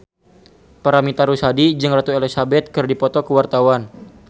Paramitha Rusady jeung Ratu Elizabeth keur dipoto ku wartawan